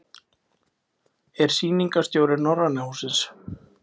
Er Sýningarstjóri Norræna hússins.